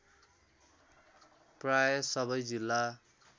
प्राय सबै जिल्ला